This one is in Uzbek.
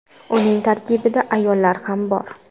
Uning tarkibida ayollar ham bor.